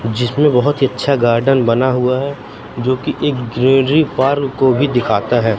जिसमें बहुत इच्छा गार्डन बना हुआ है जो की एक ग्रीनरी पार्क को भी दिखता है।